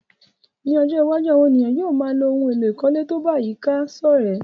Ní ojó iwájú, àwon èèyàn yio má a ló oun èló ìkólé to ba àyíká sòrẹ́